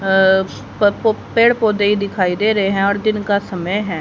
अह प पो पेड़ पौधे ही दिखाई दे रहे हैं और दिन का समय है।